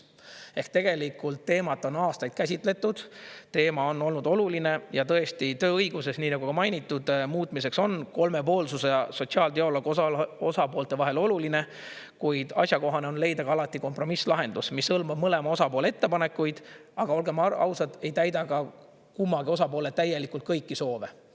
Ehk tegelikult teemat on aastaid käsitletud, teema on olnud oluline ja tõesti tööõiguses, nii nagu ka mainitud, muutmiseks on kolmepoolsus ja sotsiaaldialoog osapoolte vahel oluline, kuid asjakohane on leida ka alati kompromisslahendus, mis hõlmab mõlema osapoole ettepanekuid, aga olgem ausad, ei täida ka kummagi osapoole täielikult kõiki soove.